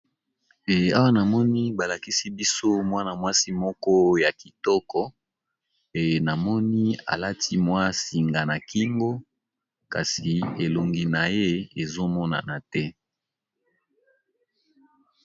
Awa namoni balakisi biso mwana-mwasi moko ya kitoko pe namoni alati singa na kingo kasi elongi na ye ezomonana te.